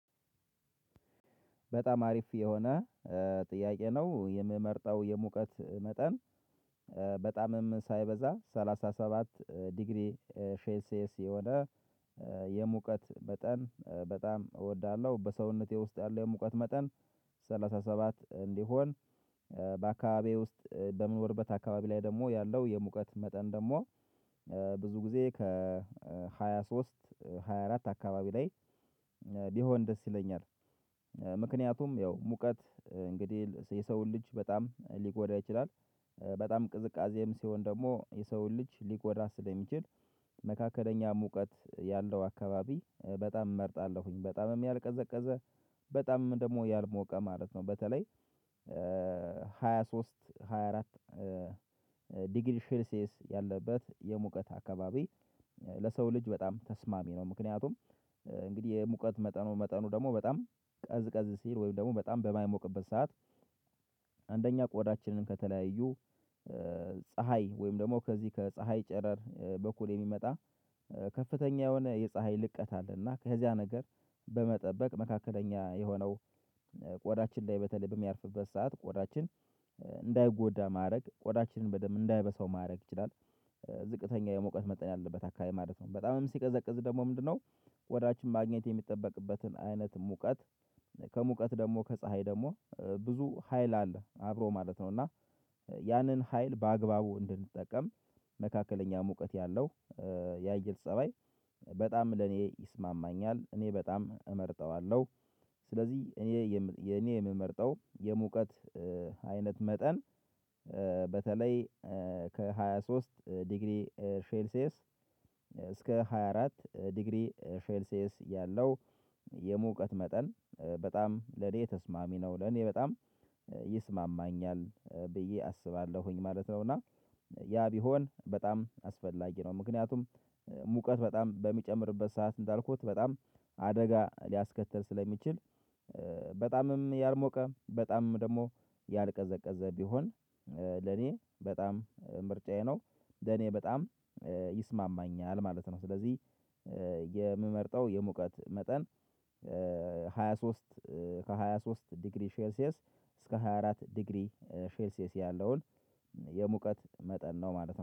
በጣም አሪፍ የሆነ ጥያቄ ነው የምመርጠው የሙቀት መጠን በጣምም ሳይበዛ ሰላሳ ሰባት ዲግሪ ሴልስየስ የሆነ የሙቀት መጠን በጣም እወዳለሁ። በሰውነቴ ውስጥ ያለው የሙቀት መጠን ሰላሳ ሰባት እንዲሆን በአካባቢየ ውስጥ በመኖርበት አካባቢ ላይ ደግሞ ያለው የሙቀት መጠን ደግሞ ብዙ ጊዜ ከሃያ ሶስት ሃያ አራት አካባቢ ላይ ቢሆን ደስ ይለኛል። ምክንያቱም ያው ሙቀት እንግዲህ የሰውን ልጅ በጣም ሊጎዳ ይችላል በጣም ቅዝቃዜም ሲሆን ደግሞ የሰውን ልጅ ሊጎዳ ስለሚችል መካከለኛ ሙቀት ያለው አካባቢ በጣም እመርጣለሁኝ። በጣም ያልቀዘቀዘ በጣም ደግሞ ያልሞቀ ማለት ነው። በተለይ ሃያ ሶስት ሃያ አራት ዲግሪ ሼልሲየስ ያለበት የሙቀት አካባቢ ለሰው ልጅ በጣም ተስማሚ ነው። ምክንያቱም እንግዲህ የሙቀት መጠኑ መጠኑ ደግሞ በጣም ቀዝ ቀዝ ሲል ወይም ደግሞ በጣም በማይሞቅበት ሰዓት። አንደኛ ቆዳችንን ከተለያዩ ፀሀይ ወይም ደግሞ ከዚህ ከፀሀይ ጨረር በኩል የሚመጣ ከፍተኛ የሆነ የፀሀይ ልቀት አለ። ከዚያ ነገር በመጠበቅ መካከለኛ የሆነው ቆዳችን ላይ በተለይ በሚያርፍበት ሰዓት ቆዳችን እንዳይጎዳ ማድረግ ቆዳችንን በደንብ እንዳይበሳው ማድረግ ይችላል። ዝቅተኛ የመውቀት መጠን ያለበት አካባቢ ማለት ነው። በጣምም ሲቀዘቅዝ ደግሞ ምንድነው ቆዳችን ማግኘት የሚጠበቅበትን አይነት ሙቀት ከሙቀት ደግሞ ከፀሀይ ደግሞ ብዙ ሀይል አለ አብሮ ማለት ነው። እና ያንን ሀይል በአግባቡ እንድንጠቀም መካከለኛ ሙቀት ያለው ያየር ፀባይ በጣም ለኔ ይስማማኛል እኔ በጣም እመርጠዋለሁ። ስለዚህ እኔ የኔ የምመርጠው የሙቀት አይነት መጠን በተለይ ከሃያ ሶስት ዲግሪ ሼልሲየስ እስከ ሃያ አራት ዲግሪ ሼልሲየስ ያለው የሙቀት መጠን በጣም ለኔ ተስማሚ ነው ለኔ በጣም ይስማማኛል ብዬ አስባለሁኝ ማለት ነው። እና ያ ቢሆን በጣም አስፈላጊ ነው። ምክንያቱም ሙቀት በጣም በሚጨምርበት ሰዓት እንዳልኩት በጣም አደጋ ሊያስከትል ስለሚችል በጣምም ያልሞቀ በጣምም ደግሞ ያልቀዘቀዘ ቢሆን ለኔ በጣም ምርጫዬ ነው። ለኔ በጣም ይስማማኛል ማለት ነው። ስለዚህ የምመርጠው የሙቀት መጠን ሃያ ሶስት ከሃያ ሶስት ዲግሪ ሼልሲየስ እስከ ሃያ አራት ዲግሪ ሼልሲየስ ያለውን የሙቀት መጠን ነው ማለት ነው